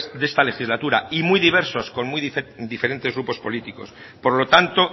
de esta legislatura y muy diversos con muy diferentes grupos políticos por lo tanto